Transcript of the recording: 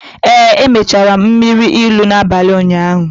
Ee, emechara m mmiri ilu n’abalị ụnyaahụ